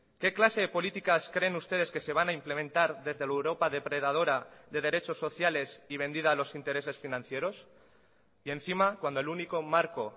qué clase de políticas creen ustedes que se van a implementar desde la europa depredadora de derechos sociales y vendida a los intereses financieros y encima cuando el único marco